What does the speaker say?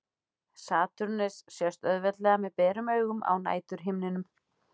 Satúrnus sést auðveldlega með berum augum á næturhimninum.